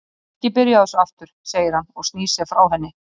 Æ, ekki byrja á þessu aftur, segir hann og snýr sér frá henni.